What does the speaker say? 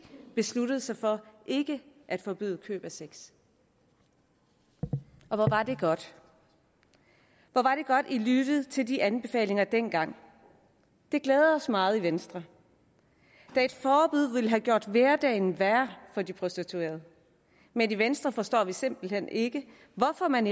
besluttede sig for ikke at forbyde køb af sex og hvor var det godt hvor var det godt regeringen lyttede til de anbefalinger dengang det glæder os meget i venstre da et forbud ville have gjort hverdagen værre for de prostituerede men i venstre forstår vi simpelt hen ikke hvorfor man